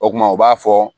O kuma u b'a fɔ